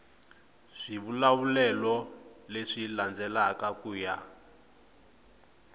swivulavulelo leswi landzelaka ku ya